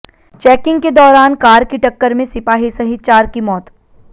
checking के दौरान car की टक्कर में सिपाही सहित चार की मौत